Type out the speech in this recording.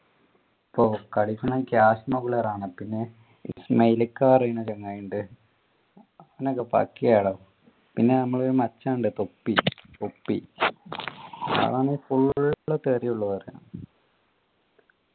പ്പോ കളിക്കാൻ റാണ് പിന്നെ ഇസ്‌മൈല് ക്കാ പറയുന്ന ചങ്ങായി ഉണ്ട് പിന്നെ ഒക്കെ പാക്കയാളോ പിന്നെ നമ്മള് മച്ചാൻ ഉണ്ട് ഇപ്പൊ പൊപ്പി പൊപ്പി അതാണ് full തെറിയെ ഉള്ളു പറയുന്ന